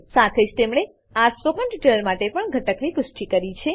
સાથે જ તેમણે આ સ્પોકન ટ્યુટોરીયલ માટે પણ ઘટકની પુષ્ટિ કરી છે